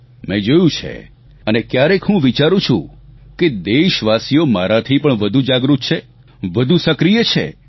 મેં જોયું છે અને ક્યારેક હું વિચારું છું કે દેશવાસીઓ મારાથી પણ વધુ જાગૃત છે વધુ સક્રિય છે